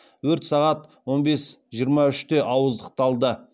өрт сағат он бес жиырма үште ауыздықталды